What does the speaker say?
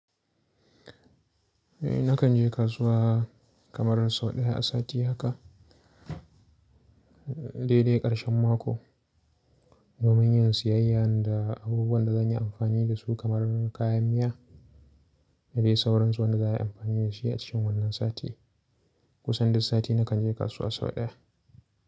Eh nakan je kasuwa kamar sau ɗaya a sati haka. Dai dai ƙarshen mako domin yin siyayya da abubuwan da zan yi amfani da su kamar kayan miya. Sai sauransu wanda za a yi amfani da shi a cikin wannan sati. Kusan duk sati nakan je kasuwa sau ɗaya.